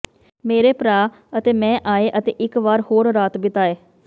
ਮੇਰੇ ਭਰਾ ਅਤੇ ਮੈਂ ਆਏ ਅਤੇ ਇੱਕ ਵਾਰ ਹੋਰ ਰਾਤ ਬਿਤਾਏ